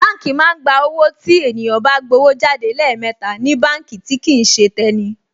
Báǹkì máa ń gba owó tí ènìyàn bá gbówó jáde lẹ́ẹ̀mẹta ní báǹkì tí kìí ṣe tẹni